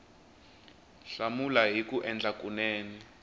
hlamula hi ku endla kunene